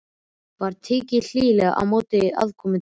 Var tekið hlýlega á móti þessu aðkomna tríói.